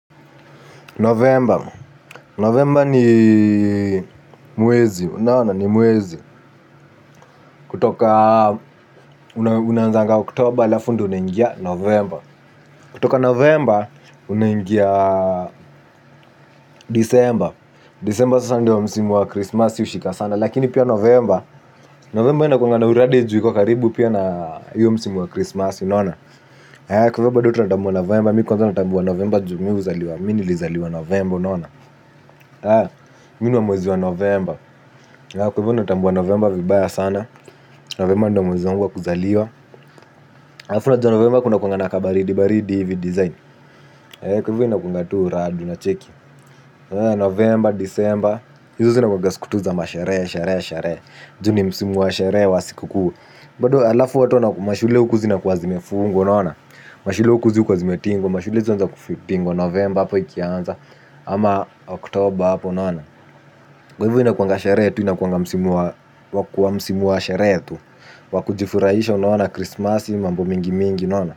Novemba, novemba ni mwezi, unaona ni mwezi. Kutoka unaanzanga oktober alafu ndio unaingia novemba. Kutoka novemba unangia disemba. Disemba sasa ndio msimu wa krismasi hushika sana. Lakini pia novemba, novemba inakuanga na uradi ju iko karibu pia na hiyo msimu wa krismasi. Kutoka novemba, mi kwanza natambua novemba ju mi hualiwa, mi nilizaliwa novemba mi ni wa mwezi wa novemba kwa hivyo natambua november vibaya sana novemba ndio mwezi wangu wa kuzaliwa alafu unajua Novemba kunakuanga na kabaridi baridi hivi design kwa hivo inakuanga tu uradi unacheki novemba disemba hizo zinakuanga siku tu za masheree, sheree, sheree. Ju ni msimu wa sheree wa siku kuu. Bado alafu watu na mashule huku zinakuwa zimefungwa unaona. Mashule huku zi hukuwa zimetingwa, mashule zi huanza kufitingwa novemba hapo ikianza ama oktoba hapo unaona kwa hivi inakuanga sheree tu inakuanga msimu wa kwa msimu wa sheree tu. Wa kujifurahisha unaona krismasi mambo mingi mingi unaona.